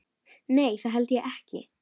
Nei, það held ég ekki.